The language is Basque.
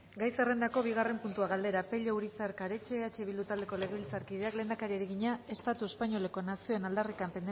gai zerrendako bigarren puntua galdera pello urizar karetxe eh bildu taldeko legebiltzarkideak lehendakariari egina estatu espainoleko nazioen aldarrikapen